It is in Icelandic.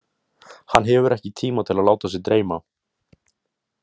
Hann hefur ekki tíma til að láta sig dreyma.